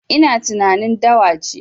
Ina tunanin dawa ce